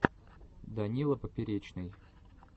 данила поперечный